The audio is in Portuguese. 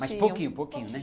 Mas pouquinho, pouquinho, né?